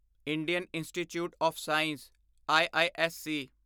Indian Institute of Science IISc